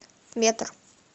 метр